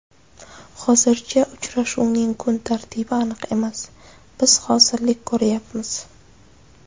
Hozircha uchrashuvning kun tartibi aniq emas, biz hozirlik ko‘ryapmiz.